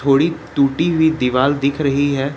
थोड़ी टूटी हुई दीवाल दिख रही है।